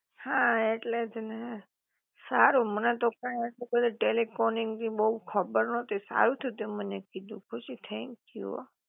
હા ઍટલે જ ને, સારું મને તો કાઇ આટલી બધી ટેલિકોનીંગ ની બોવ ખબર નોતી સારું થયું તે મને કીધું ખુશી થેન્કયૂ હો.